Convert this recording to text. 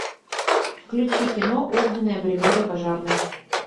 включи кино огненная бригада пожарных